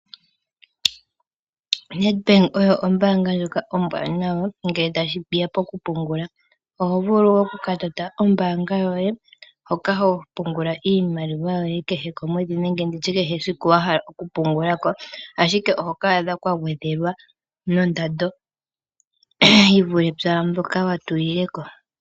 Nedbank oyo ombaanga ndjoka ombwaanawa ngele sheya po ku pungula. Oho vulu oku ka tota ombaanga yoye hoka ho ka pungula iimaliwa yoye kehe komwedhi nenge ndi tye kutya kehe esiku wa hala oku pungula ko, ashike oho ka adha kwa gwedhelwa no ndando yi vule pwaa mbyoka wa tulileko.